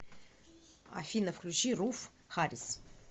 афина включи руф харрис